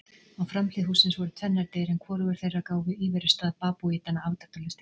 Á framhlið hússins voru tvennar dyr en hvorugar þeirra gáfu íverustað babúítanna afdráttarlaust til kynna.